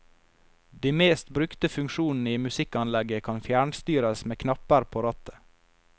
De mest brukte funksjonene i musikkanlegget kan fjernstyres med knapper på rattet.